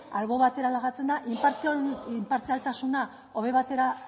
albo batera lagatzen da inpartzialtasuna